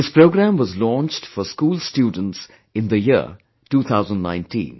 This program was launched for school students in the year 2019